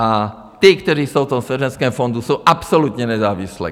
A ta, která jsou v tom svěřeneckém fondu, jsou absolutně nezávislá.